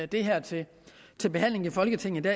det her til til behandling i folketinget